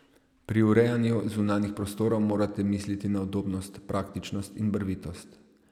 Pri urejanju zunanjih prostorov morate misliti na udobnost, praktičnost in barvitost.